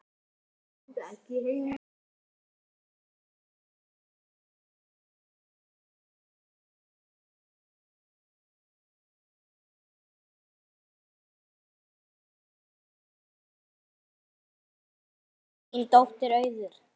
Þín dóttir Auður.